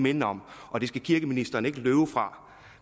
minde om og det skal kirkeministeren ikke løbe fra